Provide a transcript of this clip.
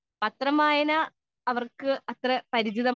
speaker 2 പത്രം വായന അവർക്ക് അത്ര പരിചിതം അല്ല